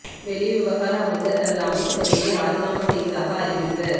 வெளிவிவகார அமைச்சர் தனது அமைச்சு பதவியை இராஜினாமா செய்வதாக அறிவிப்பு